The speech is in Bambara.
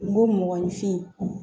N ko mɔgɔninfin